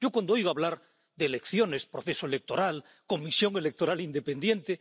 Cuando oigo hablar de elecciones, proceso electoral, comisión electoral independiente...